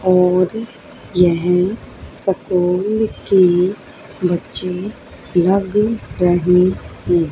और यह स्कूल की बच्चे लग रहे है।